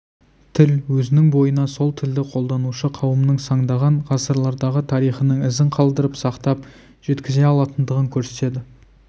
тіл өзінің бойына сол тілді қолданушы қауымның сандаған ғасырлардағы тарихының ізін қалдырып сақтап жеткізе алатындығын көрсетеді